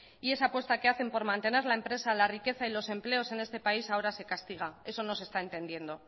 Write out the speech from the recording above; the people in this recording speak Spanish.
y esa apuesta que hacen por mantener la empresa la riqueza y los empleos en este país ahora se castiga eso no se está entendiendo